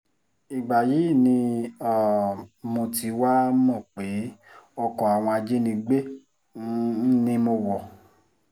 ìgbà yìí ni um mo ti wáá mọ̀ pé ọkọ àwọn ajínigbé um ni mo wọ̀